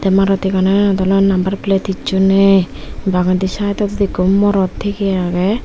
maruthi ganot ole number plate hicchu nei bagendi sideondi ekko morot tige agey.